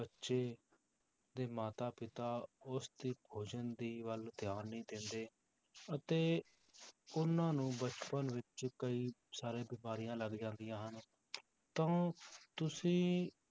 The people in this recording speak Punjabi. ਬੱਚੇ ਦੇ ਮਾਤਾ ਪਿਤਾ ਉਸਦੇ ਭੋਜਨ ਦੀ ਵੱਲ ਧਿਆਨ ਨਹੀਂ ਦਿੰਦੇ ਅਤੇ ਉਹਨਾਂ ਨੂੰ ਬਚਪਨ ਵਿੱਚ ਕਈ ਸਾਰੇ ਬਿਮਾਰੀਆਂ ਲੱਗ ਜਾਂਦੀਆਂ ਹਨ ਤਾਂ ਤੁਸੀਂ